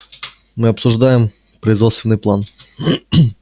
мы обсуждаем производственный план